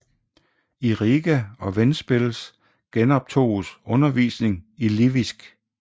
I Riga og Ventspils genoptoges undervisning i livisk